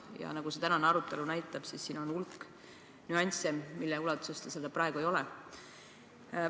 Ja nagu tänane arutelu näitab, on hulk nüansse, mille koha pealt ta seda praegu ei ole.